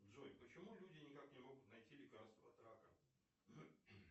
джой почему люди никак не могут найти лекарство от рака